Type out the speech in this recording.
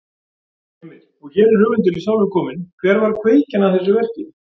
Heimir: Og hér er höfundurinn sjálfur kominn, hver var kveikjan að þessu verki?